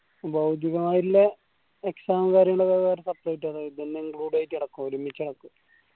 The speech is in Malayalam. ഭൗതികമായിട്ടില്ലേ exam ഉം കാര്യങ്ങളൊക്കെ separate അതോ ഇതെല്ലും included ആയിട്ട് നടക്കോ ഒരുമിച്ച് നടക്കോ